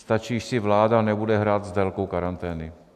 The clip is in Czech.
Stačí, když si vláda nebude hrát s délkou karantény.